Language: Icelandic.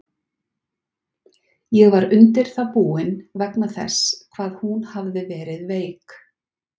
Ég var undir það búinn, vegna þess hvað hún hafði verið veik.